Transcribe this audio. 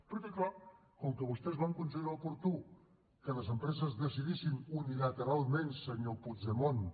perquè clar com que vostès van considerar oportú que les empreses decidissin unilateralment senyor puigdemont